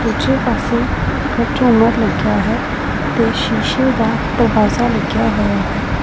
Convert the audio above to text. ਦੂਜੇ ਪਾਸੇ ਝੁੰਮਰ ਲੱਗਿਆ ਹੈ ਤੇ ਸ਼ੀਸ਼ੇ ਦਾ ਦਰਵਾਜ਼ਾ ਲੱਗਿਆ ਹੋਇਆ ਹੈ।